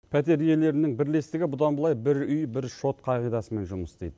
пәтер иелерінің бірлестігі бұдан былай бір үй бір шот қағидасымен жұмыс істейді